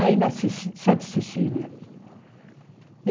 Aí na Cecí na Santa Cecília.